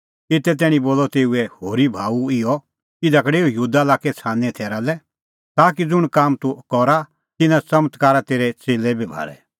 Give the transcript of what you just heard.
एते तैणीं बोलअ तेऊए होरी भाऊ इहअ इधा का डेऊ यहूदा लाक्कै छ़ानींए थैरा लै ताकि ज़ुंण काम तूह करा तिन्नां च़मत्कारा तेरै च़ेल्लै बी भाल़े